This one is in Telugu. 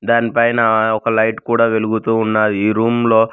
దాని పైన ఒక లైట్ కూడా వెలుగుతూ ఉన్నాది ఈ రూమ్ లో.